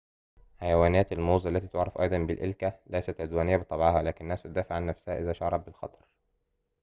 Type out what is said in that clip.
حيوانان الموظ التي تُعرف أيضًا بالإلكة ليست عدوانية بطبعها، لكنها ستدافع عن نفسها إذا شعرت بالخطر